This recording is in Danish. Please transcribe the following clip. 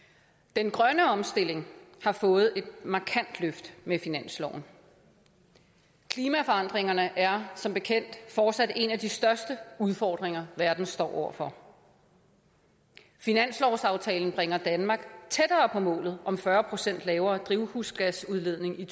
den grønne omstilling har fået et markant løft med finansloven klimaforandringerne er som bekendt fortsat en af de største udfordringer verden står over for finanslovsaftalen bringer danmark tættere på målet om fyrre procent lavere drivhusgasudledning i